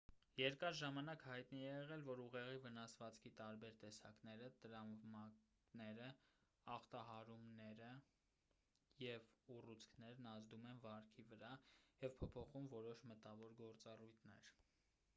երկար ժամանակ հայտնի է եղել որ ուղեղի վնասվածքի տարբեր տեսակները տրավմաները ախտահարումները և ուռուցքներն ազդում են վարքի վրա և փոփոխում որոշ մտավոր գործառույթներ